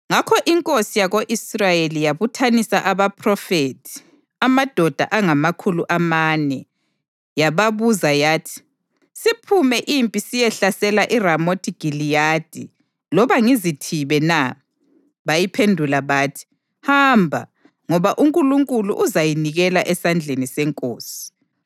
Ngakho inkosi yako-Israyeli yasibuthanisa abaphrofethi, amadoda angamakhulu amane, yababuza yathi, “Siphume impi siyehlasela iRamothi Giliyadi, loba ngizithibe na?” Bayiphendula bathi, “Hamba, ngoba uNkulunkulu uzayinikela esandleni senkosi.”